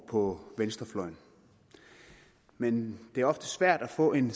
på venstrefløjen men det er ofte svært at få en